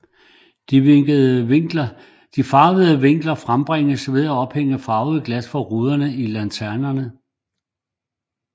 De farvede vinkler frembringes ved at ophænge farvede glas for ruderne i lanternen